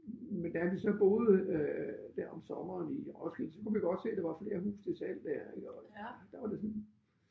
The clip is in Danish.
Men da vi så boede øh dér om sommeren i Roskilde så kunne vi godt se der var flere huse til salg der ik og der var det sådan